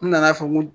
N nana fɔ n ko